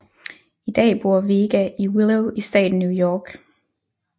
I dag bor Vega i Willow i staten New York